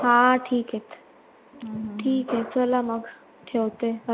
हां ठीक आहेत ठीक आहे चला मग ठेवते नंतर करेल